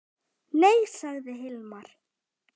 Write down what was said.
Nei, sagði Hilmar.